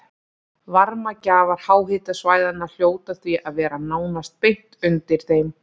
Varmagjafar háhitasvæðanna hljóta því að vera nánast beint undir þeim.